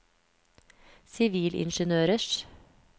sivilingeniørers